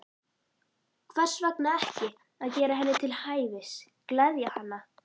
Hvers vegna ekki að gera henni til hæfis, gleðja hana?